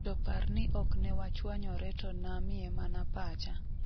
'To par ni oknewachwanyore to namiye mana pacha.''